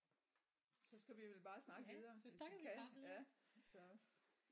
Så skal vi vel bare snakke videre hvis vi kan ja så